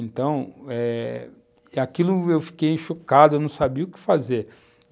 Então eh, aquilo eu fiquei chocado, eu não sabia o que fazer.